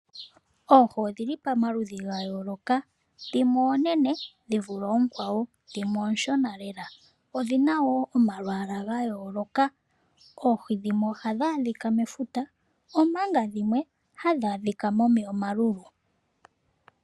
Oohi odhili paludhi gayoloka, dhimwe onene dhivule ookwawo dhimwe ooshona lela, odhina wo omayala gayoloka. Oohi dhimwe ohadhi adhika mefuta manga dhimwe hadhi adhika momeya omalulu.